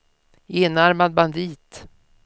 enarmad bandit